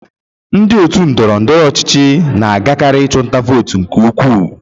Ndị otu ndọrọ ndọrọ ọchịchị na-agakarị ịchụ nta vootu nke ukwuu.